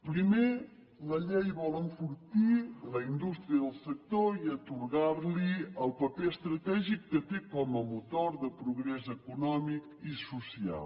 primer la llei vol enfortir la indústria del sector i atorgar li el paper estratègic que té com a motor de progrés econòmic i social